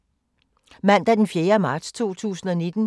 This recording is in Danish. Mandag d. 4. marts 2019